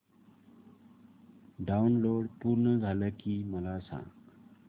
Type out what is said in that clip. download पूर्ण झालं की मला सांग